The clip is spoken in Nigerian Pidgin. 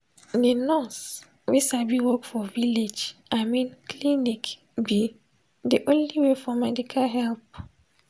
de nurse wey sabi work for village i mean clinic be de only way for medical help.